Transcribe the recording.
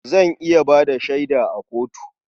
Zan iya ba da shaida a kotu.